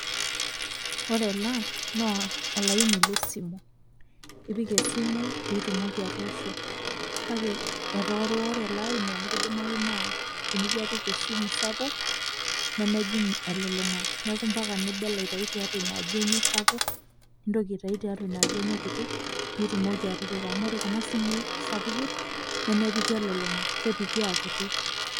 Ore ena, no olaini lesimu. Ipik esimu pitumoki atoosho. Kake etoworiwore elaini amu kidimayu naa tenijo apik esimu sapuk, nemejing elulung'a. Neeku mpaka nibel aitayu tiatua inaaji enye sapuk, nintoki aitayu tiatua inaaji enye kiti, pitumoki atipika. Amu ore kuna simui sapukin, nemepiki elulung'a, kepiki akiti.